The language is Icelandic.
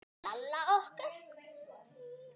Lalla okkar.